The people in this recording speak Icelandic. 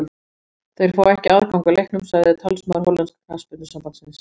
Þeir fá ekki aðgang að leiknum, sagði talsmaður hollenska knattspyrnusambandsins.